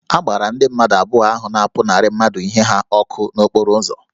A gbara ndị mmadụ abụọ ahụ na-apụnara mmadụ ihe ha ọkụ n'okporo ụzọ